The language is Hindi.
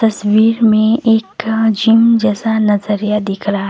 तस्वीर में एका जिम जैसा नजरिया दिख रहा--